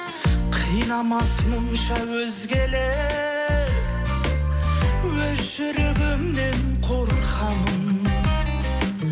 қинамас мұнша өзгелер өз жүрегімнен қорқамын